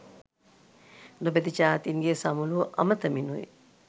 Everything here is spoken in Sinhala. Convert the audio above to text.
නොබැදි ජාතීන්ගේ සමුළුව අමතමිනුයි.